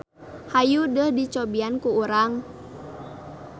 Hayu deuh dicobian ku urang.